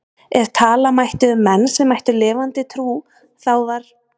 Ef tala mætti um menn sem ættu lifandi trú þá var